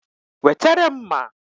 Wetere m mma!